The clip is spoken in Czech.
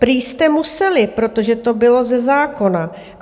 Prý jste museli, protože to bylo ze zákona.